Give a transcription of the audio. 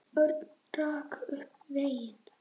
Örn rak upp vein.